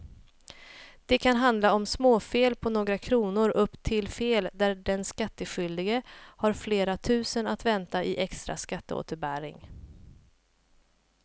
Det kan handla om småfel på några kronor upp till fel där den skattskyldige har flera tusen att vänta i extra skatteåterbäring.